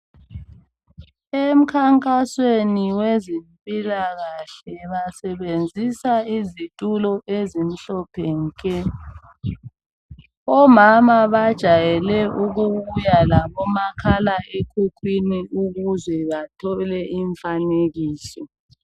Emikhankasweni kwezempilakahle basebenzisa izitulo ezimhlophe nke. Omama bajayele ukubuya labomakhala ekhukhwini ukuze bathole umfanekiso.